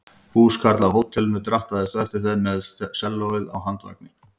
Húskarl af hótelinu drattaðist á eftir þeim með sellóið á handvagni.